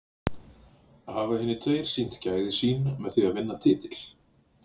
Hafa hinir tveir sýnt gæði sín með því að vinna titil?